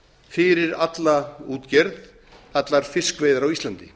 fyrir alla útgerð allar fiskveiðar á íslandi